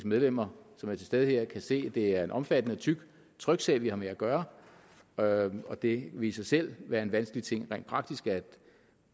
medlemmer som er til stede her kan se at det er en omfattende og tyk tryksag vi har med at gøre gøre og det vil i sig selv være en vanskelig ting rent praktisk at